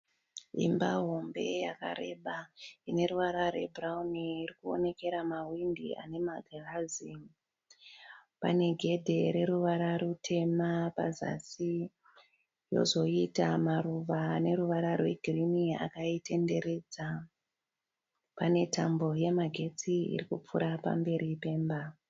Imba hombe yakareba ine ruvara rwebhurawuni iri kuonekera mahwindi ane magirazi. Pane gedhe reruvara rutema pazasi yozoita maruva ane ruvara rwegirinhi akaitenderedza. Pane tambo yemagetsi iri kupfuura pamberi pemba.